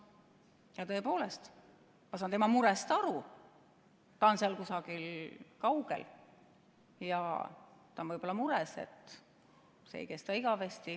Ja tõepoolest, ma saan tema murest aru – ta on seal kusagil kaugel ja ta on mures, et see ei kesta igavesti.